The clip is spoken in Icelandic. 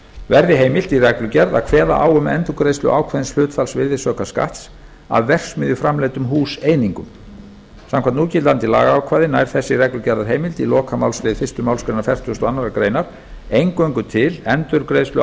verði heimilt í reglugerð að kveða á um endurgreiðslu ákveðins hlutfalls virðisaukaskatts af verksmiðjuframleiddum húseiningum samkvæmt núgildandi lagaákvæði nær þessi reglugerðarheimild í lokamálslið fyrstu málsgrein fertugustu og aðra grein eingöngu til endurgreiðslu